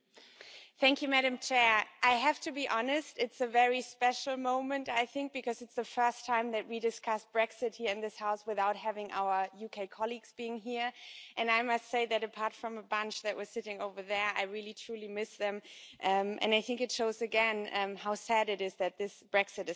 Madam President, I have to be honest it's a very special moment I think, because it's the first time that we discuss Brexit here in this House without having our UK colleagues being here, and I must say that apart from a bunch that was sitting over there, I really truly miss them, and I think it shows again how sad it is that this Brexit is happening.